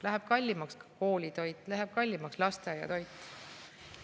Läheb kallimaks koolitoit, läheb kallimaks lasteaiatoit.